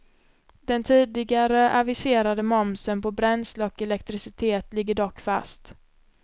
Den tidigare aviserade momsen på bränsle och elektricitet ligger dock fast.